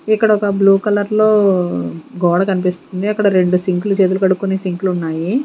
ఇక్కడ ఒక బ్లూ కలర్లో గోడ కన్పిస్తుంది అక్కడ రెండు సింక్లు చేతులు కడుక్కునే సింకులున్నాయి .